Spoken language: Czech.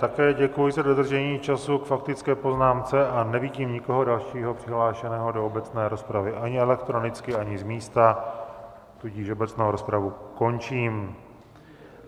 Také děkuji za dodržení času k faktické poznámce a nevidím nikoho dalšího přihlášeného do obecné rozpravy, ani elektronicky, ani z místa, tudíž obecnou rozpravu končím.